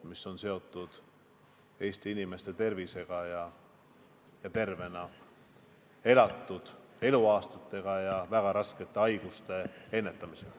See oli seotud Eesti inimeste tervisega, tervena elatud aastate arvuga ja väga raskete haiguste ennetamisega.